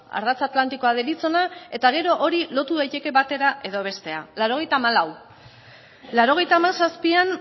ardatz atlantikoa deritzona eta gero hori lotu daiteke batera edo bestera laurogeita hamalau laurogeita hamazazpian